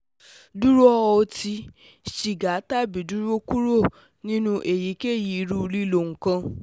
Duro oti, siga tabi duro kuro ninu eyikeyi iru lilo nkan